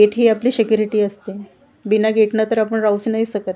येठी आपली सेक्युरीटी असते बिना गेटनं तर आपण राहू नाही शकत .